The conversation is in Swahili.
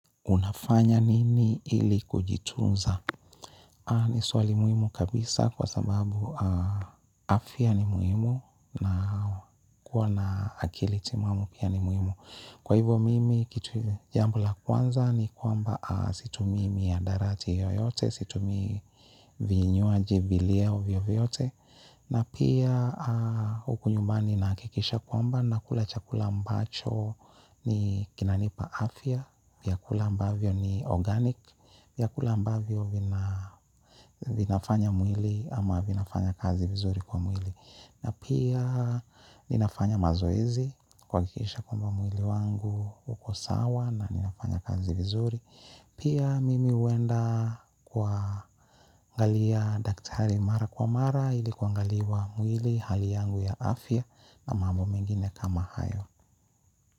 Unafanya nini ili kujitunza? Ni swali muhimu kabisa kwa sababu afya ni muhimu na kuwa na akili timamu pia ni muhimu. Kwa hivyo mimi kitu jambo la kwanza ni kwamba situmii mihadarati yoyote, situmii vinywaji vileo vyote vyote. Na pia huku nyumbani nakikisha kwamba nakula chakula ambacho kinanipa afya, vyakula ambavyo ni organic, vyakula ambavyo vinafanya mwili ama vinafanya kazi vizuri kwa mwili. Na pia ninafanya mazoezi kuhakikisha kwamba mwili wangu uko sawa na ninafanya kazi vizuri. Pia mimi huenda kuangalia daktari mara kwa mara ili kuangaliwa mwili hali yangu ya afya na mambo mengine kama hayo.